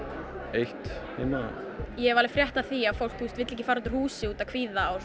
eitt heima ég hef alveg frétt af því að fólk vill ekki fara út úr húsi út af kvíða og